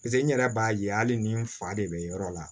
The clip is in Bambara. pase n yɛrɛ b'a ye hali ni n fa de be yɔrɔ la